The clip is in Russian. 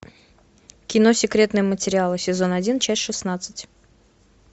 кино секретные материалы сезон один часть шестнадцать